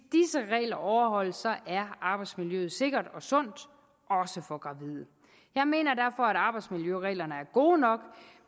regler overholdes er arbejdsmiljøet sikkert og sundt også for gravide jeg mener derfor at arbejdsmiljøreglerne er gode nok